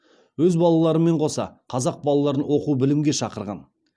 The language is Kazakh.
өз балаларымен қоса қазақ балаларын оқу білімге шақырған